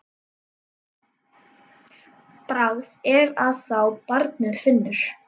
Bragð er að þá barnið finnur!